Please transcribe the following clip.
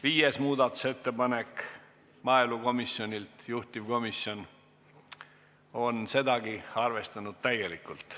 Viies muudatusettepanek on maaelukomisjonilt, juhtivkomisjon on sedagi arvestanud täielikult.